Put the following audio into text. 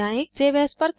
file पर जाएँ